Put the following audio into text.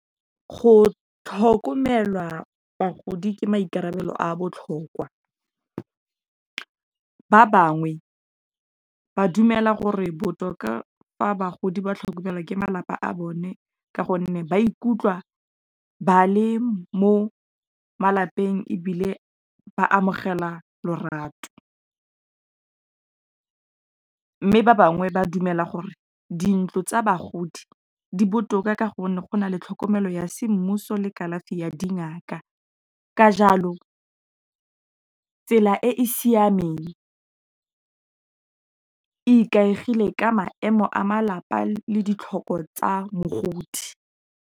Go tlhokomela bagodi ke maikarabelo a botlhokwa. Ba bangwe ba dumela gore botoka fa bagodi ba tlhokomelwa ke malapa a bone ka gonne ba ikutlwa ba le mo malapeng ebile ba amogela lorato, mme ba bangwe ba dumela gore, dintlo tsa bagodi di botoka ka gonne go na le tlhokomelo ya semmuso le kalafi ya dingak, a ka jalo tsela e e siameng ikaegile ka maemo a malapa, le ditlhoko tsa mogodi.